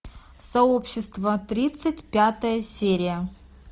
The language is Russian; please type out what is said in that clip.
сообщество тридцать пятая серия